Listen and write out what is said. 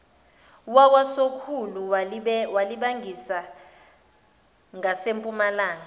wakwasokhulu walibangisa ngasempumalanga